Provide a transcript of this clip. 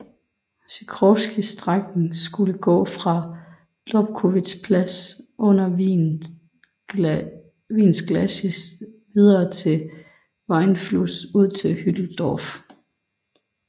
Sichrowskys strækning skulle gå fra Lobkowitzplatz under Wiens glacis videre til Wienfluss ud til Hütteldorf